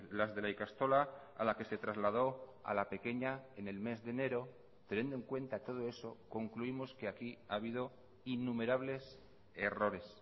las de la ikastola a la que se trasladó a la pequeña en el mes de enero teniendo en cuenta todo eso concluimos que aquí ha habido innumerables errores